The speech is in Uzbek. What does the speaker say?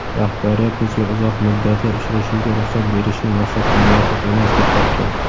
"Rahbariyat" bizga uzoq muddatli uchrashuvga ruxsat berishni maqsadga muvofiq emas deb topgan.